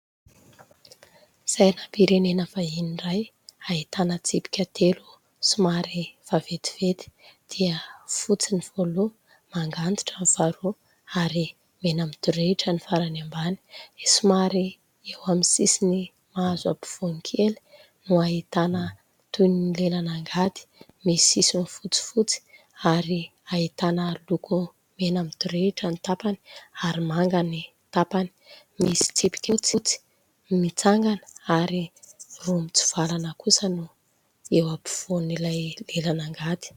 Sainam-pirenena vahiny iray ahitana tsipika telo somary vaventiventy dia fotsy ny voalohany, manga antitra ny faharoa ary mena midorehitra ny farany ambany ; somary eo amin'ny sisiny mahazo afovoany kely no ahitana toy ny lelan'angady, misy sisiny fotsifotsy ary ahitana loko mena midorehitra ny tapany ary manga ny tapany, misy tsipika fotsy mitsangana ary roa mitsivalana kosa ny eo afovoan'ilay lelan'angady.